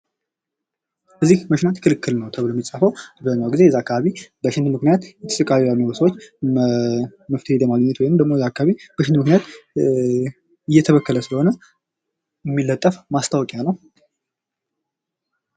"እዚህ መሽናት ክልክል ነው!" ተብሎ የሚፃፈው አብዛኛውን ጊዜ እዚያ አካባቢ በሽንት ምክንያት እየተሰቃዩ ያሉን ስወች መፍትሄ ለማግኘት ወይንም ደግሞ እዚያ አካባቢ በሽንት ምክንያት እየተበከለ ስለሆነ የሚለጠፍ ማስታወቂያ ነው።